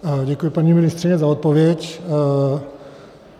Děkuji, paní ministryně, za odpověď.